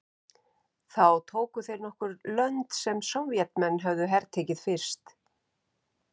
Þá tóku þeir nokkur lönd sem Sovétmenn höfðu hertekið fyrst.